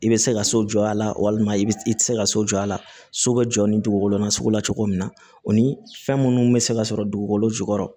I bɛ se ka so jɔ a la walima i bɛ i tɛ se ka so jɔ a la so bɛ jɔ ni dugukolo nasugu la cogo min na o ni fɛn minnu bɛ se ka sɔrɔ dugukolo jukɔrɔ